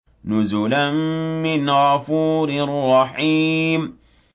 نُزُلًا مِّنْ غَفُورٍ رَّحِيمٍ